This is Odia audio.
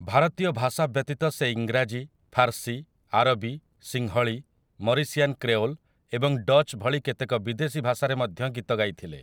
ଭାରତୀୟ ଭାଷା ବ୍ୟତୀତ ସେ ଇଂରାଜୀ, ଫାର୍ସୀ, ଆରବୀ, ସିଂହଳୀ, ମରିସିଆନ୍ କ୍ରେଓଲ୍ ଏବଂ ଡଚ୍ ଭଳି କେତେକ ବିଦେଶୀ ଭାଷାରେ ମଧ୍ୟ ଗୀତ ଗାଇଥିଲେ ।